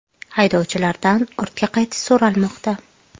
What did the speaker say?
Haydovchilardan ortga qaytish so‘ralmoqda.